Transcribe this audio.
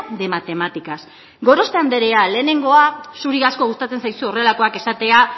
de matemáticas gorospe anderea lehenengoa zuri asko gustatzen zaizu horrelakoak esatea